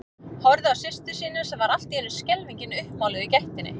Horfði á systur sína sem var allt í einu skelfingin uppmáluð í gættinni.